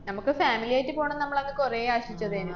നമക്ക് family ആയിട്ട് പോണന്ന് നമ്മളങ്ങ് കുറേ ആശിച്ചതേനു.